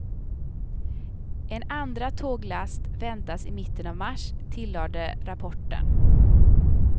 En andra tåglast väntas i mitten av mars, tillade rapporten.